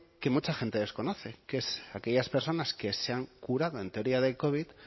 que mucha gente desconoce que es aquellas personas que se han jurado en teoría del covid